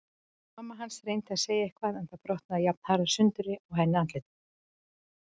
Mamma hans reyndi að segja eitthvað en það brotnaði jafnharðan sundur á henni andlitið.